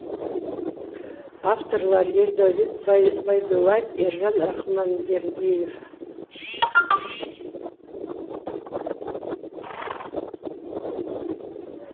авторлары ердәулет байдуллаев ержан рахманбердиев